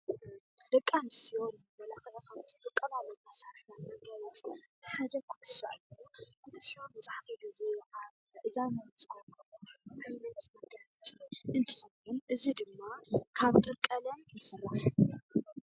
ደቂ ኣንስትዮ መመላኽዒ ካብ ዝጥቀማሉ መሳርሕታት መጋየፂ ሓደ ኩትሻ እዩ፡፡ ኩትሻ መብዛሕትኡ ጊዜ ኣብ ኣእዛነን ዝገብረኦ መጋየፂ እንትኸውን፣ እዚ ድማ ካብ ጥርቀለም ይስራሕ፡፡